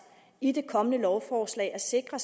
i det kommende lovforslag at sikre